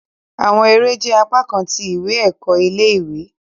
Awọn ere jẹ apakan ti iwe-ẹkọ ile-iwe